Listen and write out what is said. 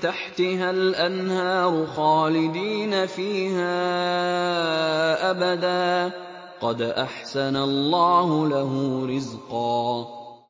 تَحْتِهَا الْأَنْهَارُ خَالِدِينَ فِيهَا أَبَدًا ۖ قَدْ أَحْسَنَ اللَّهُ لَهُ رِزْقًا